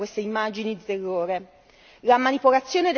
Perché escono proprio adesso queste immagini di terrore?